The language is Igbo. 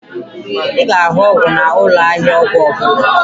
Ị ga-ahụ ọgwụ n'ụlọ ahịa ọgwụ ọbụla